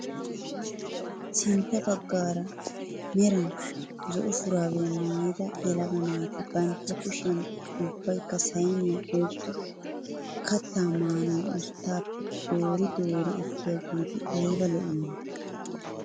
Sintta baggaara meran zo"o shuraabiyaa maayida yelaga naati bantta kushiyaan ubbaykka sayniyaa oyqqidi kattaa maanawu usttaappe dori doori ekkiyaageeti ayba lo"iyoonaa!